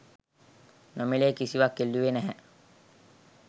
නොමි‍ලේ කිසිවක් ඉල්ලුවේ නැහැ.